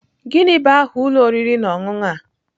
Gịnị bụ aha ụlọ oriri na ọṅụṅụ a?